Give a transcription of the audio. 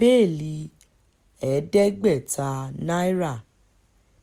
bẹ́ẹ́lí ẹ̀ẹ́dẹ́gbẹ̀ta náírà